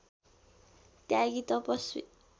त्यागी तपस्वी